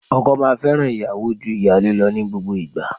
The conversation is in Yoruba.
Ọkọ máa fẹ́ràn ìyàwó ju ìyálé lọ ní gbogbo ìgbà.